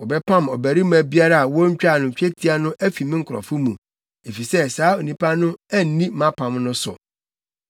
Wɔbɛpam ɔbarima biara a wontwaa no twetia no afi ne nkurɔfo mu, efisɛ saa onipa no anni mʼapam no so.”